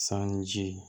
Sanji